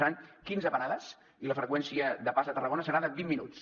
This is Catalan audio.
seran quinze parades i la freqüència de pas de tarragona serà de vint minuts